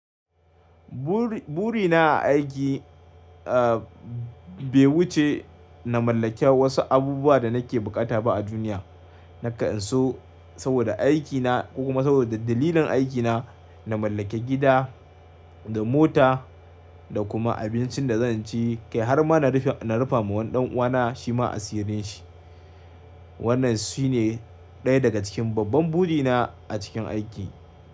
Bur-burina a aiki, bai wuce na mallake wasu abubuwa da nake bukata ba a duniya. Na ka'an so saboda aikina kuma saboda dalilin aikina, na mallake gida da mota da kuma abincin da zan ci, kai har ma na rufa, na rufa ma wani ɗan'uwana shima asirin shi. Wannan shine ɗaya daga cikin babban burina a cikin aiki.